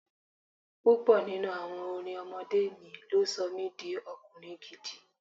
Púpọ̀ nínú àwọn orin ọmọdé mi ló sọ mi di ọkùnrin ìdí.